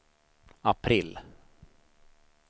april